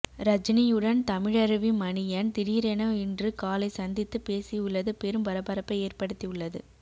ரஜினியுடன் தமிழருவி மணியன் திடீரென இன்று காலை சந்தித்து பேசியுள்ளது பெரும் பரபரப்பை ஏற்படுத்தி உள்ளது